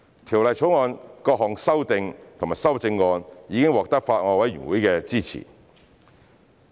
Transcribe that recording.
《條例草案》的各項修訂及修正案已獲得法案委員會的支持。